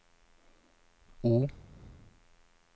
O